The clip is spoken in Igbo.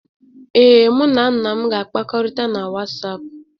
Ee, mụ na nna m ga-akpakọrịta na WhatsApp.